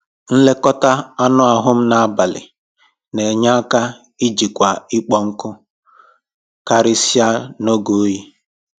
Nlekọta anụ ahụ m na abalị na enye aka ijikwa ịkpọ nkụ, karịsịa n'oge oyi